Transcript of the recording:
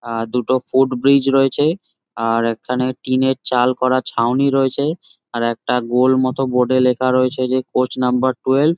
আঃ দুটো foot bridge রয়েছে। আর এখানে টিন -এর চাল করা ছাউনি রয়েছে। আর একটা গোল মতোন বোর্ড -এ লেখা রয়েছে যে পোস্ট নাম্বার টুয়েলভ ।